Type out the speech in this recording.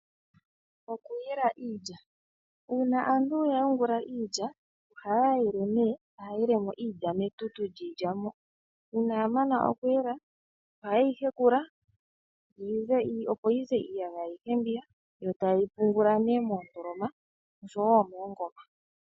Okuyela iilya: Uuna aantu ya yungula iilya, ohaya yele nee ohaya yelemo iilya metutu liilya, uuna yamana okuyela ohayeyi hekula, opo yize iiyagaya ayihe yo tayeyi pungula moondoloma oshowo moongoma.